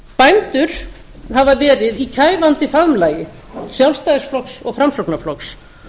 bændur hafa verið í kæfandi faðmlagi sjálfstæðisflokks og framsóknarflokks